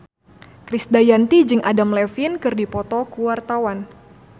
Krisdayanti jeung Adam Levine keur dipoto ku wartawan